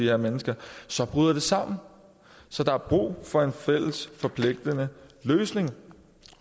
her mennesker så bryder det sammen så der er brug for en fælles forpligtende løsning